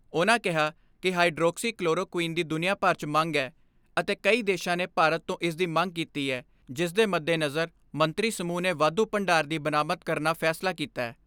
ਉਨ੍ਹਾਂ ਕਿਹਾ ਕਿ ਹਾਈਡਰੋਕਸੀ ਕਲੋਰੋ ਕੁਈਨ ਦੀ ਦੁਨੀਆਂ ਭਰ 'ਚ ਮੰਗ ਐ ਅਤੇ ਕਈ ਦੇਸ਼ਾਂ ਨੇ ਭਾਰਤ ਤੋਂ ਇਸਦੀ ਮੰਗ ਕੀਤੀ ਐ ਜਿਸਦੇ ਮੱਦੇਨਜ਼ਰ ਮੰਤਰੀ ਸਮੂਹ ਨੇ ਵਾਧੂ ਭੰਡਾਰ ਦੀ ਬਰਾਮਦ ਕਰਨ ਫੈਸਲਾ ਕੀਤੈ।